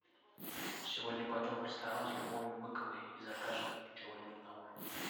сегодня пойдем в ресторан с любовью быковой и закажем чего нибудь на ужин